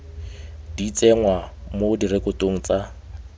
di tsenngwa mo direkotong tsa